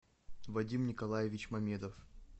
вадим николаевич мамедов